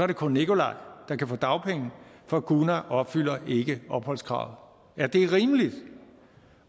det kun nikolai der kan få dagpenge for gunar opfylder ikke opholdskravet er det rimeligt